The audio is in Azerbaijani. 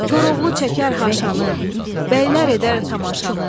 Koroğlu çəkər haşanı, bəylər edər tamaşanı.